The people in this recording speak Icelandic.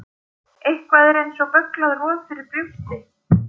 Eitthvað er eins og bögglað roð fyrir brjósti